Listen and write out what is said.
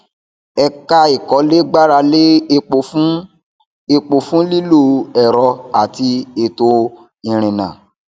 ẹka ìkólé gbára lé epo fún epo fún lílo ẹrọ àti ètò ìrìnnà